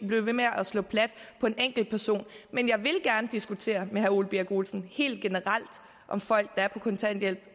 blive ved med at slå plat på en enkeltperson men jeg vil gerne diskutere med herre ole birk olesen helt generelt om folk der er på kontanthjælp